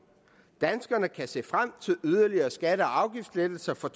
danskerne kan se frem til yderligere skatte og afgiftslettelser for